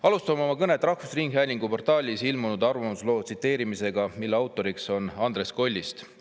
Alustan oma kõnet, tsiteerides rahvusringhäälingu portaalis ilmunud arvamuslugu, mille autor on Andres Kollist.